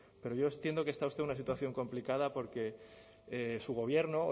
pero yo entiendo que está usted en una situación complicada porque su gobierno